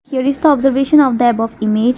there is the observation of the above image.